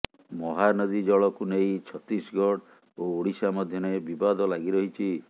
ମହାନଦୀ ଜଳକୁ ନେଇ ଛତିଶଗଡ଼ ଓ ଓଡ଼ିଶା ମଧ୍ୟରେ ବିବାଦ ଲାଗି ରହିଛି